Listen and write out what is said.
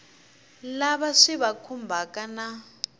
lava swi va khumbhaka na